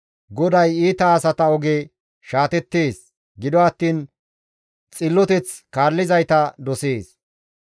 GODAY iita asata oge shaatettees; gido attiin xilloteth kaallizayta dosees.